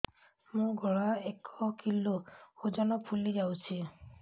ମୋ ଗଳା ଏକ କିଲୋ ଓଜନ ଫୁଲି ଯାଉଛି